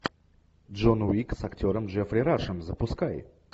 джон уик с актером джеффри рашем запускай